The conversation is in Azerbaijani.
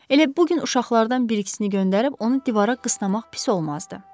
Elə bu gün uşaqlardan bir-ikisini göndərib onu divara qıstırmaq pis olmazdı.